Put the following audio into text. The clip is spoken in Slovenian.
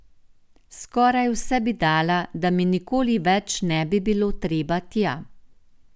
Skoraj vse bi dala, da mi nikoli več ne bi bilo treba tja.